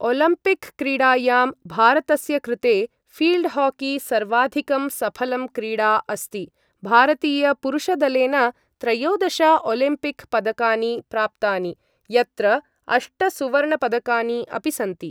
ओलम्पिकक्रीडायां भारतस्य कृते फील्डहॉकी सर्वाधिकं सफलं क्रीडा अस्ति, भारतीयपुरुषदलेन त्रयोदश ओलम्पिकपदकानि प्राप्तानि, यत्र अष्टसुवर्णपदकानि अपि सन्ति।